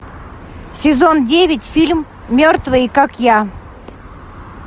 сезон девять фильм мертвые как я